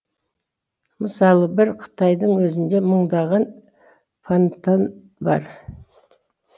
мысалы бір қытайдың өзінде мыңдаған фантан бар